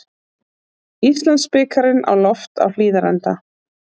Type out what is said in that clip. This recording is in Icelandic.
Íslandsbikarinn á loft á Hlíðarenda